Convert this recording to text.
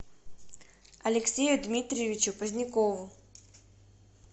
алексею дмитриевичу позднякову